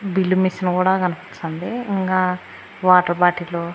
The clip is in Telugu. బిల్లు మిషన్ కూడా కనిపించాంది ఇంగా వాటర్ బాటిలు --